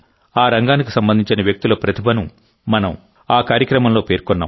ఆ రంగానికి సంబంధించిన వ్యక్తుల ప్రతిభను మనం ఆ కార్యక్రమంలో పేర్కొన్నాం